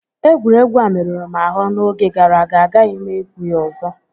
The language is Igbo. Egwuregwu a merụrụ m ahụ n'oge gàrà aga, agaghị m egwu a ọzọ